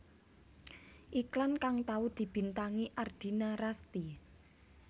Iklan kang tau dibintangi Ardina Rasti